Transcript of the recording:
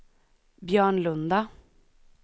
Björnlunda